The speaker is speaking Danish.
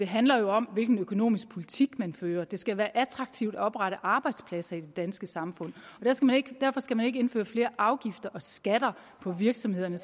handler om hvilken økonomisk politik man fører det skal være attraktivt at oprette arbejdspladser i det danske samfund og derfor skal man ikke indføre flere afgifter og skatter på virksomhederne